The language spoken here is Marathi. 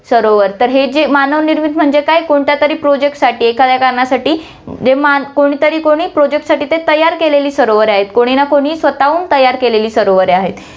सरोवर, तर हे जे मानव निर्मित म्हणजे काय, कोणत्या तरी project साठी, एखाद्या कारणासाठी, जे मान~ कोणतरी कोणी project साठी ते तयार केलेली सरोवरे आहेत, कोणी ना कोणी स्वतःहून तयार केलेली सरोवरे आहेत.